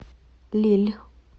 лилль